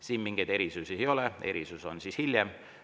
Siin mingeid erisusi ei ole, erisus tuleb hiljem.